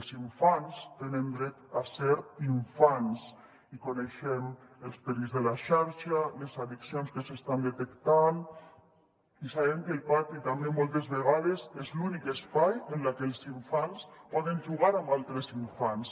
els infants tenen dret a ser infants i coneixem els perills de la xarxa les addiccions que s’estan detectant i sabem que el pati també moltes vegades és l’únic espai en el que els infants poden jugar amb altres infants